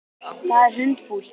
Það er hundfúlt.